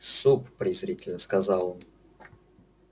суп презрительно сказал он